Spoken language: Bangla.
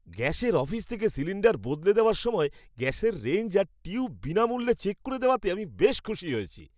গ্যাসের অফিস থেকে সিলিণ্ডার বদলে দেওয়ার সময় গ্যাসের রেঞ্জ আর টিউব বিনামূল্যে চেক করে দেওয়াতে আমি বেশ খুশি হয়েছি।